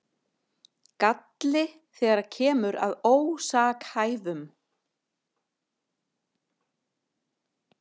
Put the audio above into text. Galli þegar kemur að ósakhæfum